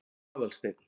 Aðalsteinn